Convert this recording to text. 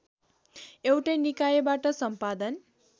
एउटै निकायबाट सम्पादन